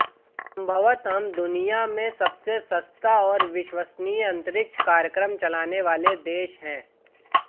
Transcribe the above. संभवतः हम दुनिया में सबसे सस्ता और विश्वसनीय अंतरिक्ष कार्यक्रम चलाने वाले देश हैं